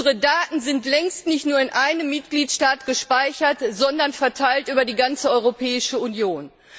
Unsere Daten sind längst nicht nur in einem Mitgliedstaat gespeichert, sondern verteilt über die ganze Europäische Union.